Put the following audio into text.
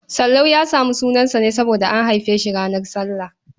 Sallau ya samu sunansa ne saboda an haife shi ranar sallah.